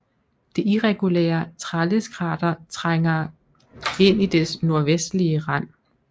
Det irregulære Tralleskrater trænger ind i dets nordvestlige rand